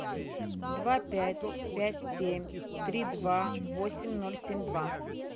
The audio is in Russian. два пять пять семь три два восемь ноль семь два